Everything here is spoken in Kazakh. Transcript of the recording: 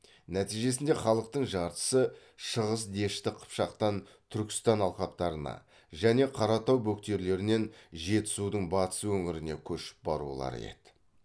нәтижесінде халықтың жартысы шығыс дешті қыпшақтан түркістан алқаптарына және қаратау бөктерлерінен жетісудың батыс өңіріне көшіп барулары еді